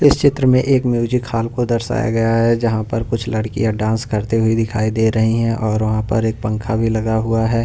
इस चित्र में एक म्यूजिक हॉल को दर्शाया गया है जहां पर कुछ लड़कियां डांस करते हुए दिखाई दे रही हैं और वहां पर एक पंखा भी लगा हुआ है।